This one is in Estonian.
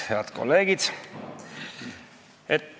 Head kolleegid!